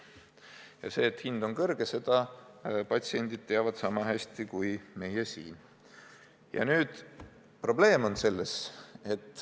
Ja seda, et hind on kõrge, teavad patsiendid sama hästi kui meie siin.